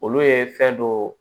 Olu ye fɛn dɔ